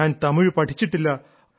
ഞാൻ തമിഴ് പഠിച്ചിട്ടില്ല